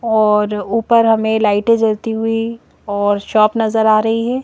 और ऊपर हमें लाइटे जलती हुई और शॉप नजर आ रही हैं।